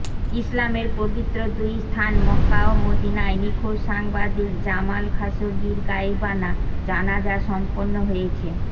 ইসলামের পবিত্র দুই স্থান মক্কা ও মদিনায় নিখোঁজ সাংবাদিক জামাল খাশোগির গায়েবানা জানাজা সম্পন্ন হয়েছে